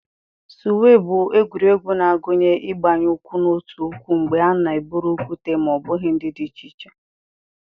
suwe bụ egwuregwu na-agụnye ịgbanye ụkwụ n'otu ụkwụ mgbe a na-eburu okwute ma ọ bụ ihe dị iche iche.